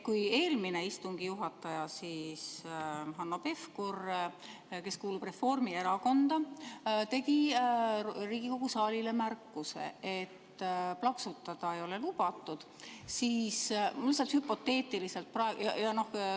Kui eelmine istungi juhataja Hanno Pevkur, kes kuulub Reformierakonda, tegi Riigikogu saalile märkuse, et plaksutada ei ole lubatud, siis mul tekkis lihtsalt hüpoteetiline küsimus.